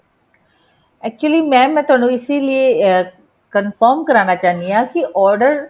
actually mam ਮੈਂ ਤੁਹਾਨੂੰ ਇਸੀ ਲੀਏ confirm ਕਰਵਾਉਣਾ ਚਾਹੁੰਦੀ ਹਾਂ ਕੀ order